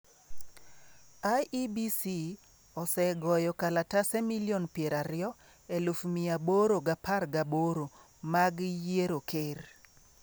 IEBC osegoyo kalatese 20,818,000 mag yiero ker.